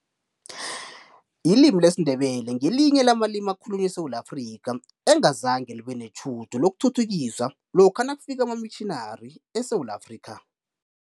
Ilimi lesiNdebele ngelinye lamalimi ekhalunywa eSewula Afrika, engazange libe netjhudu lokuthuthukiswa lokha nakufika amamitjhinari eSewula Afrika.